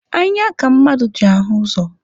Anya ka mmadụ ji ahụ ụzọ.